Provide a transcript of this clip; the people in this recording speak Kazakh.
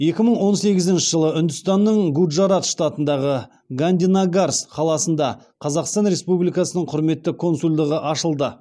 екі мың он сегізінші жылы үндістанның гуджарат штатындағы гандинагарс қаласында қазақстан республикасының құрметті консульдығы ашылды